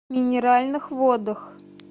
минеральных водах